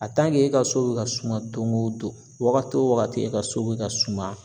e ka so be ka suma don go don , wagati wo wagati e ka so be ka suma